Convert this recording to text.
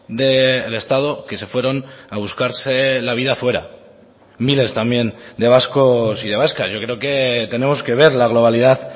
del estado que se fueron a buscarse la vida fuera miles también de vascos y de vascas yo creo que tenemos que ver la globalidad